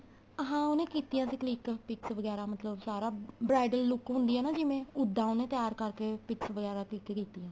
ਹਾਂ ਉਹਨੇ ਕੀਤੀਆਂ ਸੀ click pics ਵਗੈਰਾ ਮਤਲਬ ਸਾਰਾ bridal look ਹੁੰਦੀ ਏ ਨਾ ਜਿਵੇਂ ਉਦਾ ਉਹਨੇ ਤਿਆਰ ਕਰਕੇ pics ਵਗੈਰਾ click ਕੀਤੀਆਂ